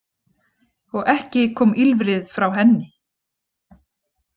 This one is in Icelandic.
Og ekki kom ýlfrið frá henni.